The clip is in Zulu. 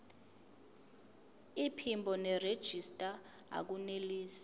iphimbo nerejista akunelisi